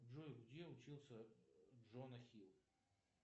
джой где учился джона хилл